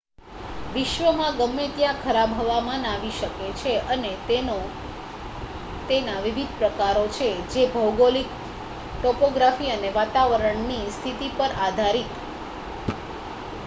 વિશ્વમાં ગમે ત્યાં ખરાબ હવામાન આવી શકે છે અને તેના વિવિધ પ્રકારો છે જે ભૌગોલિક ટોપોગ્રાફી અને વાતાવરણની સ્થિતિ પર આધાર િત